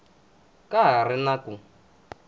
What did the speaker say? ka ha ri na ku